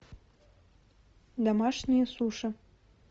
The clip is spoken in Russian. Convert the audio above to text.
домашние суши